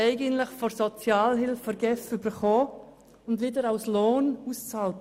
Eigentlich haben wir das Geld von der GEF erhalten und es wieder als Lohn ausbezahlt.